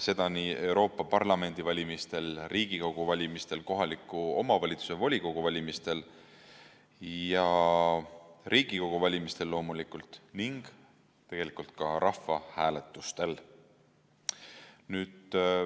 See oleks nii Euroopa Parlamendi valimistel, Riigikogu valimistel, kohaliku omavalitsuse volikogu valimistel ja tegelikult ka rahvahääletustel.